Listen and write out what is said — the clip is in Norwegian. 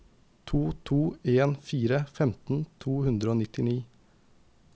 to to en fire femten to hundre og nittini